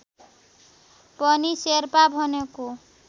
पनि शेर्पा भनेको